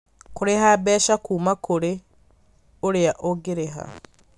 Kũrĩha mbeca kuuma kũrĩ ũrĩa ũgũrĩha